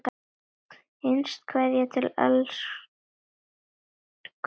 HINSTA KVEÐJA Til elsku Rúnu.